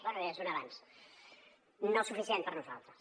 bé ja és un avanç no suficient per nosaltres